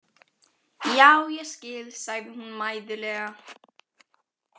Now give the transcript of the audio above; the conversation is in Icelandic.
Já, ég skil, sagði hún mæðulega.